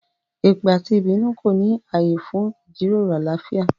Èpè àti ìbínú kò ní ààyè fún ìjíròrò àlàáfíà